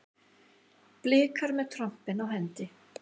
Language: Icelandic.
Blikar með trompin á hendi